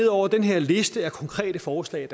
over den her liste af konkrete forslag